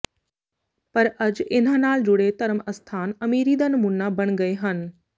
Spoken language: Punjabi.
ਪਰ ਅੱਜ ਇਨ੍ਹਾਂ ਨਾਲ ਜੁੜੇ ਧਰਮ ਅਸਥਾਨ ਅਮੀਰੀ ਦਾ ਨਮੂਨਾ ਬਣ ਗਏ ਹਨ